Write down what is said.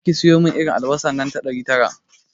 Gobe ki siyomin irin albasa nan ta ɗari tara